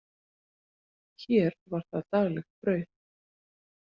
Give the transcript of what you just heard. Hér var það daglegt brauð.